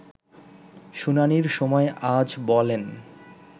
শুনানির সময় আজ বলেন